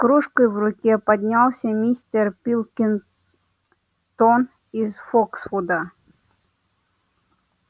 с кружкой в руке поднялся мистер пилкингтон из фоксвуда